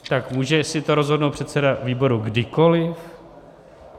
Tak může si to rozhodnout předseda výboru kdykoliv?